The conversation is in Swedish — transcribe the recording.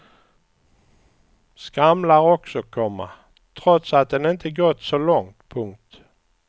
Skramlar också, komma trots att den inte gått så långt. punkt